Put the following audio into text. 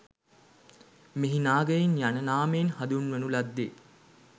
මෙහි නාගයින් යන නාමයෙන් හඳුන්වනු ලද්දේ